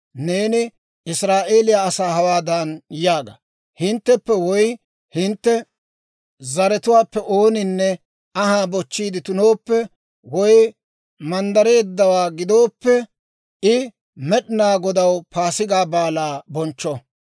«Neeni Israa'eeliyaa asaa hawaadan yaaga; ‹Hintteppe woy hintte zaratuwaappe ooninne anhaa bochchiide tunooppe, woy manddareeddawaa gidooppe, I Med'inaa Godaw Paasigaa Baalaa bonchcho;